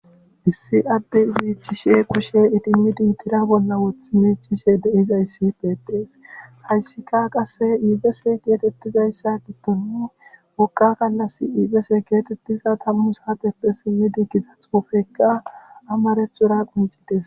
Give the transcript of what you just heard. Issi adde miicishe kushe tira bolla wotidi idimidi de'izayssi beetees. hayssikka qasse ebise geetetizayta gidon wogga galasi ebese getetiza tammu saateppe simmin giigida xuufekka amarathora qonccides